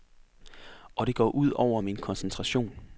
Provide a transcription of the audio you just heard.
Og det går ud over min koncentration.